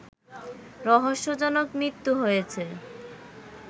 রহস্যজনক মৃত্যু হয়েছে